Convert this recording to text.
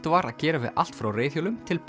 var að gera við allt frá reiðhjólum til